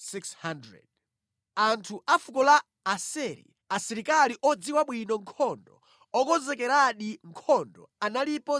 Anthu a fuko la Aseri, asilikali odziwa bwino nkhondo, okonzekeradi nkhondo analipo 40,000;